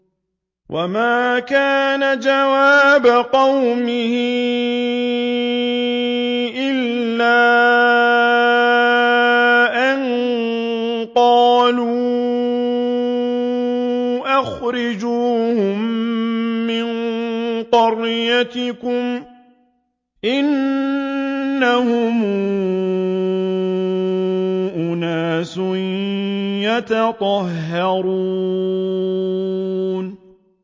وَمَا كَانَ جَوَابَ قَوْمِهِ إِلَّا أَن قَالُوا أَخْرِجُوهُم مِّن قَرْيَتِكُمْ ۖ إِنَّهُمْ أُنَاسٌ يَتَطَهَّرُونَ